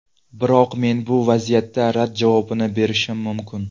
Biroq men bu vaziyatda rad javobini berishim mumkin.